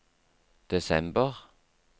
desember